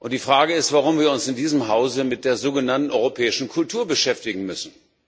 Die Frage ist, warum wir uns in diesem Hause mit der sogenannten europäischen Kultur beschäftigen müssen.